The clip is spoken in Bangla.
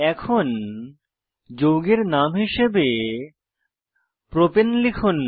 এখন যৌগের নাম হিসাবে প্রপাণে লিখুন